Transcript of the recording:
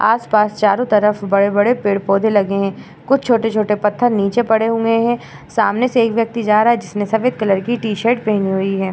आसपास चारों तरफ बड़े-बड़े पेड़-पौधे लगे हैं। कुछ छोटे-छोटे पत्थर नीचे पड़े हुए हैं। सामने से एक व्यक्ति जा रहा है जिसने सफ़ेद कलर की टी-शर्ट पहनी हुई है।